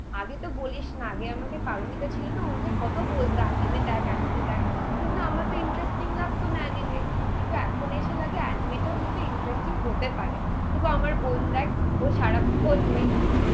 আগে তো বলিস না. আগে আমাকে পারমিতা ছিল না. ওর মেয়ে কত বলতো. আর অ্যানিমে দেখ. আর অ্যানিমে দেখ. কিন্তু আমার তো ইন্টারেস্টিং লাগতো না অ্যানিমে. কিন্তু এখন এসে লাগে অ্যানিমে কিন্তু ইন্টারেস্টিং হতে পারে, সুধু আমার বোন দেখ. ও সারাক্ষণ ওই